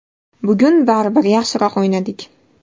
Bugun baribir yaxshiroq o‘ynadik.